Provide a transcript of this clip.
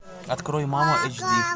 открой мама эйч ди